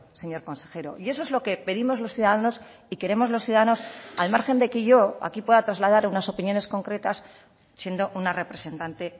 señor consejero y eso es lo que pedimos los ciudadanos y queremos los ciudadanos al margen de que yo aquí pueda trasladar unas opiniones concretas siendo una representante